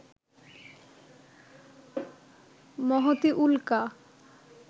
মহতী উল্কা